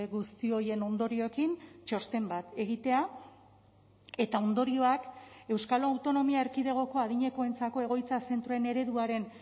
guzti horien ondorioekin txosten bat egitea eta ondorioak euskal autonomia erkidegoko adinekoentzako egoitza zentroen ereduaren